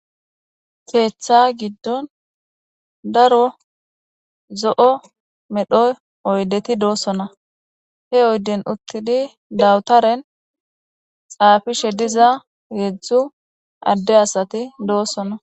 keeththa giddon daro zo7o medhoy oydeti doossona he oyden uttidi dawutaren xaafishe diza heedzdzu adde asati doosona